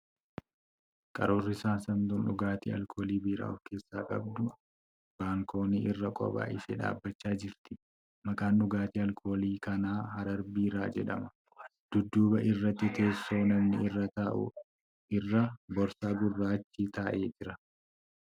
Qaruurri saamsamtuuun dhugaatii alkoolii biiraa of keessaa qabdu baalkoonii irra kophaa ishee dhaabbachaa jirti. Maqaan dhugaatii alkooliin kanaa ' Harar Biiraa ' jedhama. Dudduba irratti teessoo namni irra taa'u irra boorsaa gurraachi taa'ee jira.